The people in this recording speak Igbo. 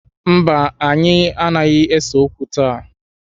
Mba, anyị anaghị ese okwu taa